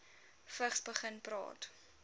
vigs begin praat